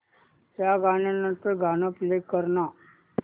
या गाण्या नंतरचं गाणं प्ले कर ना